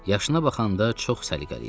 Yaşına baxanda çox səliqəli idi.